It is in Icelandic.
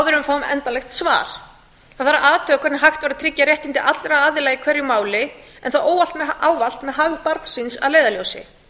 við fá endanlegt svar það verður að athuga hvernig hægt er að tryggja réttindi allra aðila í hverju máli en það er ávallt með hag barnsins að leiðarljósi